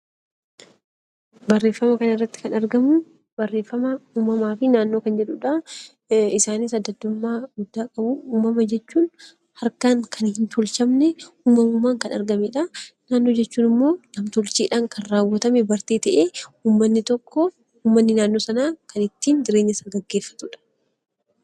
Uumamuma jechuun harkaan kan hin tolfamne uumamaan kan argamedha. Naannoo jechuun immoo nam-tolcheedhaan kan raawwatame bartee ta'ee uummanni tokko uummanni naannoo sanaa kan ittiin jireenya isaa gaggeeffatudha.